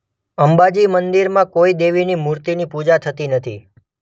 અંબાજી મંદિરમાં કોઇ દેવીની મૂર્તિની પૂજા થતી નથી.